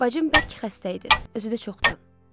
Bacım bərk xəstə idi, özü də çoxdan.